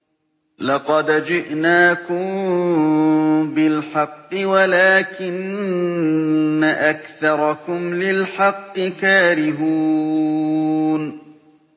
لَقَدْ جِئْنَاكُم بِالْحَقِّ وَلَٰكِنَّ أَكْثَرَكُمْ لِلْحَقِّ كَارِهُونَ